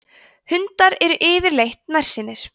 hundar eru yfirleitt nærsýnir